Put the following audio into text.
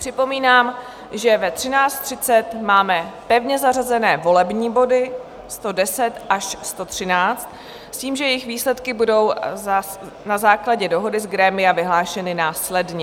Připomínám, že ve 13.30 máme pevně zařazené volební body 110 až 113 s tím, že jejich výsledky budou na základě dohody z grémia vyhlášeny následně.